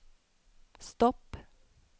stopp